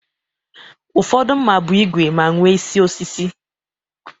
Ụfọdụ mma bụ ígwè ma nwe isi osisi